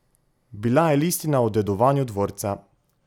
Bila je listina o dedovanju dvorca!